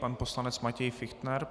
Pan poslanec Matěj Fichtner.